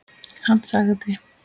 Hann sagði